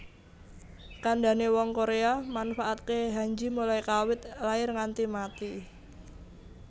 Kandane wong Korea manfaatke Hanji mulai kawit lair nganti mati